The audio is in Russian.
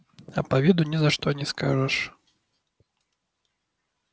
а по виду ни за что не скажешь